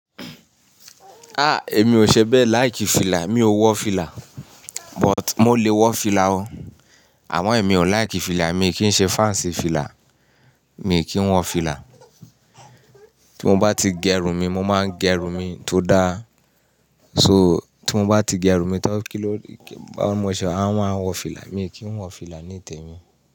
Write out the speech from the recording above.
Ah! Èmi ò ṣe bẹ́ẹ̀, like fìlà, mi ò wọ fìlà. But mo lè wọ fìlà o. Àmọ ẹ̀mi ò like fìlà, mi kì í ṣe fans sí fìlà, mi kì í wọ fìlà. Tí mo bá ti gẹ'rùn mi, mo máa ń gẹ'rùn mi tó dá. So, tí mo bá ti gẹrù mi tán kí ló, kí ló máa ṣe? A máa wọ fìlà, mi kì í wọ fìlà níìtẹ̀ mi.